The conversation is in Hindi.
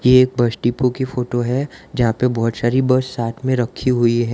ये एक बस डिपो की फोटो है जहां पे बहोत सारी बस साथ में रखी हुई है।